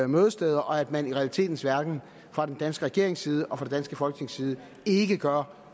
mødesteder og at man i realiteternes verden fra en dansk regerings side og fra det danske folketings side ikke gør